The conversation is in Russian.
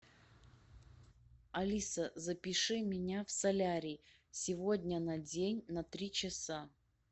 алиса запиши меня в солярий сегодня на день на три часа